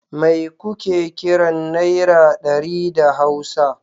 Mai kuke kiran Naira ɗari da Hausa?